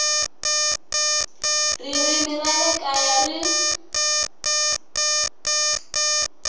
ririmi ra le kaya ri